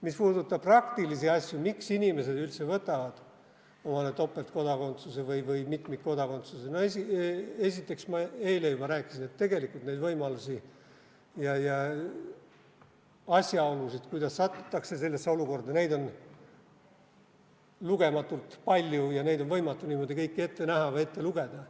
Mis puudutab praktilisi asju, miks inimesed üldse võtavad omale topeltkodakondsuse või mitmikkodakondsuse, no esiteks, ma eile juba rääkisin, et tegelikult neid võimalusi ja asjaolusid, kuidas sellesse olukorda satutakse, on lugematult palju ja neid on võimatu kõiki ette näha või ette lugeda.